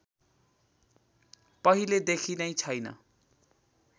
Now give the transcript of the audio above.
पहिलेदेखि नै छैन